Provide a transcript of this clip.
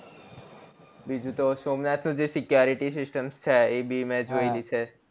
બીજું તો સોમનાથ નું જે security system છે એ ભી મેં જોયેલી છે